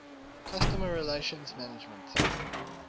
customer relationship management